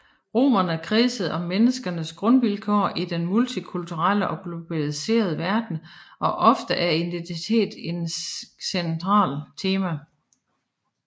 Romanerne kredser om menneskenes grundvilkår i den multikulturelle og globaliserede verden og ofte er identitet et centralt tema